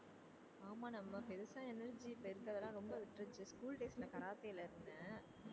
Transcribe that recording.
ஆமா நம்ம பெருசா energy இப்ப இருக்கறதுலாம் ரொம்ப விட்டுருச்சு school days ல கராத்தேல இருந்தேன்